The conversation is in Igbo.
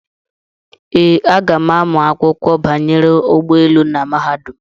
Ee, aga m amụ akwụkwọ banyere ụgbọelu na mahadum.